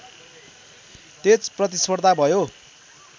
तेज प्रतिस्पर्धा भयो